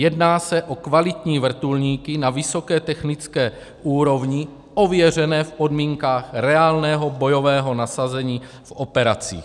Jedná se o kvalitní vrtulníky, na vysoké technické úrovni, ověřené v podmínkách reálného bojového nasazení v operacích.